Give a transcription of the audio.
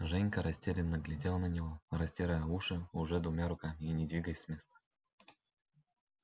женька растерянно глядел на него растирая уши уже двумя руками и не двигаясь с места